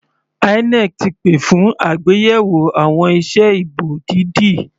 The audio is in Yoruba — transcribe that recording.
INEC ti pè fún àgbéyẹ̀wò àwọn ìse ìbò dídì.